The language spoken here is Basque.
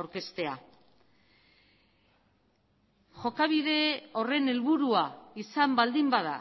aurkeztea jokabide horren helburua izan baldin bada